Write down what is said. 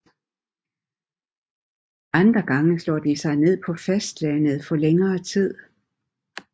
Andre gange slår de sig ned på fastlandet for længere tid